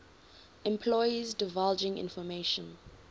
employees divulging information